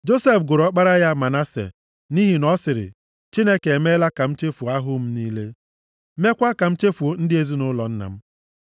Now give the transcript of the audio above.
Josef gụrụ ọkpara ya Manase, + 41:51 Aha a bụ Manase pụtara Nchefu. nʼihi na ọ sịrị, “Chineke emeela ka m chefuo ahụhụ m niile, mekwa ka m chefuo ndị ezinaụlọ nna m.”